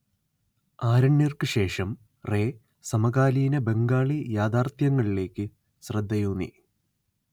ആരണ്യർക്ക് ശേഷം റേ സമകാലീന ബംഗാളി യാഥാർത്ഥ്യങ്ങളിലേയ്ക്ക് ശ്രദ്ധയൂന്നി